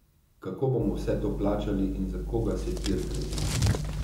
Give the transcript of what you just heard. Kako bomo vse to plačali in za koga se tir gradi?